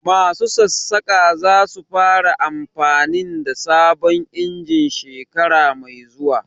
Masu Sassaƙa za su fara amfanin da sabon injin shekara mai zuwa